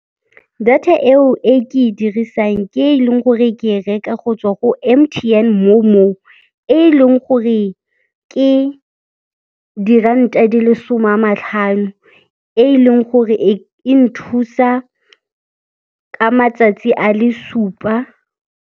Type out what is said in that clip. Data eo e ke e dirisang ke e leng gore ke e reka go tswa go M_T_N Momo, e leng gore ke diranta di le som'a matlhano, e leng gore e nthusa ka matsatsi a le supa.